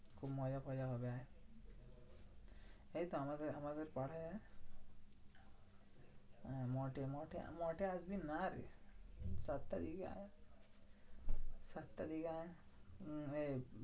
খুব মজা ফজা হবে আয়। জানিস তো আমাদের আমাদের পারায় আয়। হ্যাঁ মঠে মঠে একদিন আয়রে। সাত তারিখে আয়। সাতটার দিকে আয়। উম এই